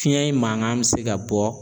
Fiɲɛ in mankan bɛ se ka bɔ